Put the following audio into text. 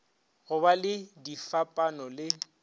go ba le difapano le